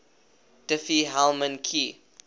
diffie hellman key